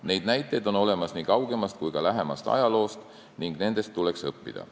Neid näiteid on olemas nii kaugemast kui ka lähemast ajaloost ning nendest tuleks õppida.